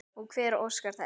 Og hver óskar þess?